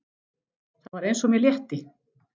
Það var eins og mér létti.